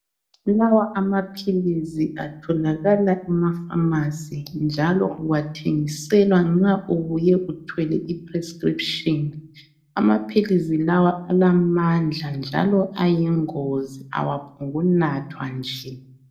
Lawa amaphilisi atholakala emapharmacy njalo uwathengiselwa nxa ubuye uthwele iprescription. Amaphilizi lawa alamandla njalo ayingozi awaphongukunathwa nje.